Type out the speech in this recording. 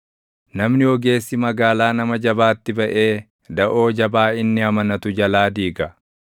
Namni ogeessi magaalaa nama jabaatti baʼee daʼoo jabaa inni amanatu jalaa diiga.